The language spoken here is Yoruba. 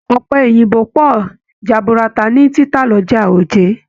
Ọpẹ Òyìnbó pọ jaburata ni títà l'ọja Oje.